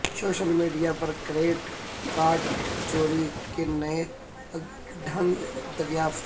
social media پر credit card چوری کے نئے ڈھنگ دریافت